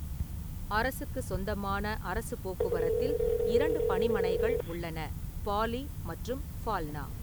அரசுக்குச் சொந்தமான அரசுப் போக்குவரத்தில் இரண்டு பணிமனைகள் உள்ளன: பாலி மற்றும் ஃபால்னா.